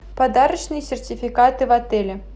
подарочные сертификаты в отеле